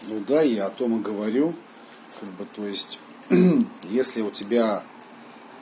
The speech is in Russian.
ну да я о том и говорю как бы то есть если у тебя